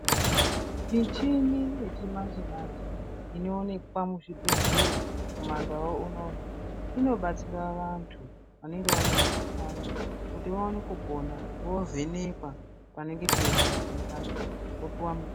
Michhini yechimanje-manje, inoonekwa kuzvibhedhlera, kumandau unono, inobatsira vanthu, vanenge vane mukhuhlani kuti vaone kupona. Voovhenekwa panenge peirwadza pacho, vopuwa mutombo.